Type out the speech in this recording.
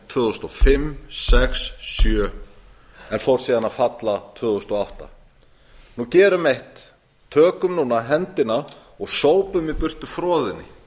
tvö þúsund og sex og tvö þúsund og sjö en fór síðan að falla tvö þúsund og átta gerum eitt tökum núna höndina og sópum í burtu froðunni